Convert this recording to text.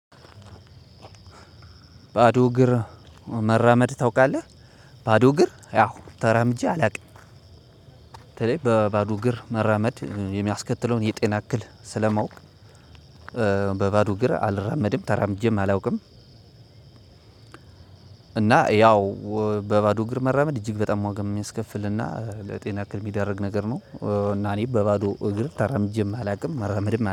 ባዶ እግር መራመድ ታውቃለህ ባዶ እግር ያው ተራምጄ አላውቅም። በተለይ በባዶ እግር መራመድ የሚያስከትለውን የጤና እክል ስለማውቅ። በባዶ እግር አልራመድም ተራምጄም አላውቅም። እና ያው በባዶ እግር መራመድ እጅግ በጣም ዋጋ የሚያስከፍልና ለጤና እክል የሚደረግ ነገር ነው። እና እኔ በባዶ እግር ተራምጅም አላውቅም መራመድም